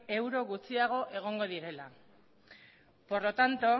euro gutxiago egongo direla por lo tanto